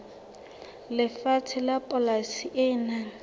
lefatshe la polasi le nang